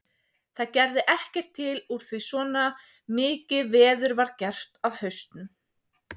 Það gerði ekkert til úr því svona mikið veður var gert af hausnum.